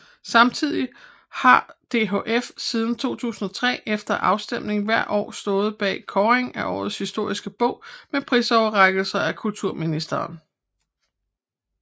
Samtidig har DHF siden 2003 efter afstemning hvert år stået bag kåringen af Årets historiske bog med prisoverrækkelse af kulturministeren